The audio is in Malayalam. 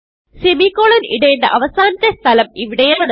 സെമിക്കോളൻ ഇടേണ്ട അവസാനത്തെ സ്ഥലം ഇവിടെയാണ്